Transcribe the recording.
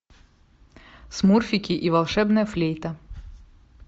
смурфики и волшебная флейта